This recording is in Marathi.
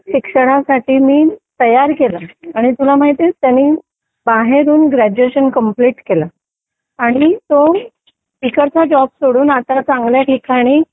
शिक्षणासाठी मी तयार केलं आणि तुला माहितीये त्यांनी बाहेरून ग्रॅज्युएशन कम्प्लीट केलं आणि तो इकडचा जॉब सोडून आता चांगल्या ठिकाणी